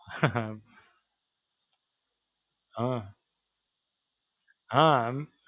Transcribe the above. હાં, હાં.